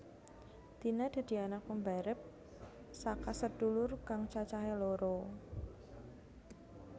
Tina dadi anak pambarep saka sedulur kang cacahe loro